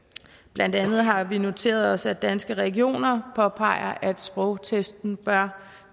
blandt andet har vi noteret os at danske regioner påpeger at sprogtesten bør